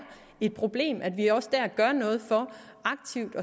et problem gør noget aktivt